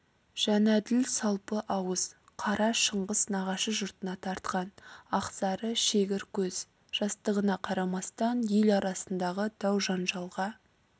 жәнәділ салпы ауыз қара шыңғыс нағашы жұртына тартқан ақсары шегір көз жастығына қарамастан ел арасындағы дау-жанжалға